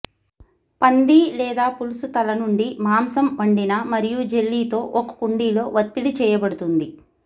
పంది లేదా పులుసు తల నుండి మాంసం వండిన మరియు జెల్లీతో ఒక కుండలో ఒత్తిడి చేయబడుతుంది